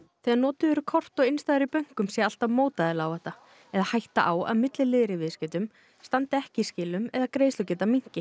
þegar notuð eru kort og innstæður í bönkum sé alltaf mótaðilaáhætta eða hætta á að milliliðir í viðskiptum standi ekki í skilum eða greiðslugeta minnki